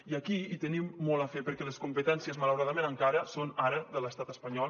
i aquí hi tenim molt a fer perquè les competències malauradament encara són ara de l’estat espanyol